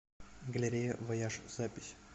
галерея вояж запись